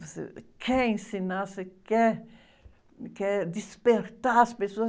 Você quer ensinar, você quer, quer despertar as pessoas.